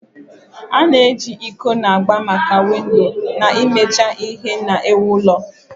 A-na eji iko na agba maka windo na imecha ihe na-ewu ụlọ.